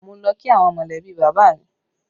Mo lọ kí àwọn molebi bàbá mi